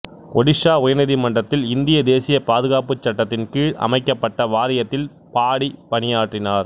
ஒடிசா உயர்நீதிமன்றத்தில் இந்திய தேசிய பாதுகாப்பு சட்டத்தின் கீழ் அமைக்கப்பட்ட வாரியத்தில் பாடி பணியாற்றினார்